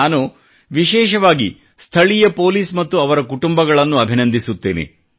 ನಾನು ವಿಶೇಷವಾಗಿ ಸ್ಥಳೀಯ ಪೋಲಿಸ್ ಮತ್ತು ಅವರ ಕುಟುಂಬಗಳಿಗೂ ಅಭಿನಂದಿಸುತ್ತೇನೆ